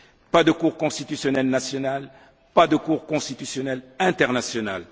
Pas de cour constitutionnelle nationale, pas de cour constitutionnelle internationale.